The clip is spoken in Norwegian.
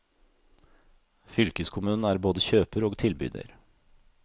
Fylkeskommunen er både kjøper og tilbyder.